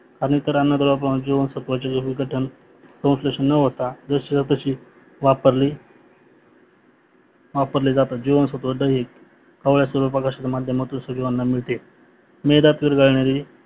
अंत्र अन्नद्रव पण जीवनसत्वाचे विघटन संश्लेषण न होता जाशीच्यातशी वापरली वापरली जाते जीवांसत्व ड हे कावड्या सूर्यप्रकश्याच्या माध्यमातून शरीराला मिळते मेधात विडघणारी